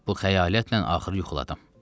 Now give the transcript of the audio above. Bu xəyalətlə axır yuxuladım.